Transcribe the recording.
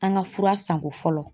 An ka fura sanko fɔlɔ.